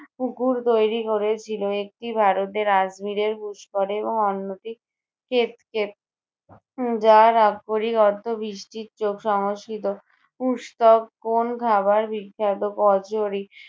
পুকুর তৈরী করেছিল। একটি ভারতের আজমীরের পুষ্কর এবং অন্যটি উম যার আক্ষরিক অর্থ বৃষ্টির চোখ সংস্কৃত। পুষতক কোন্ খাবার বিখ্যাত? কচুরি।